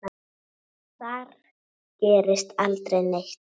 Þar gerist aldrei neitt.